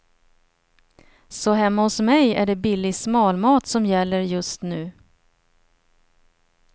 Så hemma hos mig är det billig smalmat som gäller just nu.